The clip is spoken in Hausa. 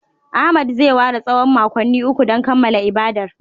Ahmed zai ware tsawon makonni uku don kammala ibadar